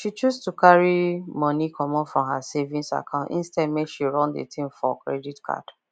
she choose to carry money comot from her savings account instead make she run the thing for credit card